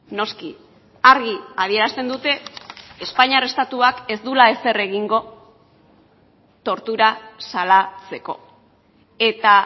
noski argi adierazten dute espainiar estatuak ez duela ezer egingo tortura salatzeko eta